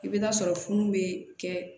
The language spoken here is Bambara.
I bɛ taa sɔrɔ funu bɛ kɛ